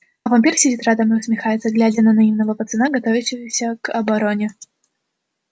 а вампир сидит рядом и усмехается глядя на наивного пацана готовящегося к обороне